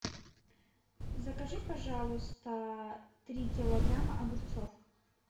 закажи пожалуйста три килограмма огурцов